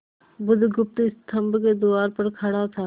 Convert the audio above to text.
बुधगुप्त स्तंभ के द्वार पर खड़ा था